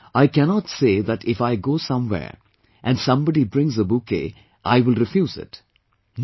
Now, I cannot say that if I go somewhere and somebody brings a bouquet I will refuse it